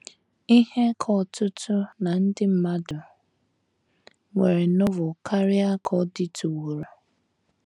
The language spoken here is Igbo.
IHE ka ọtụtụ ná ndị mmadụ nwere Novel karịa ka ọ dịtụworo.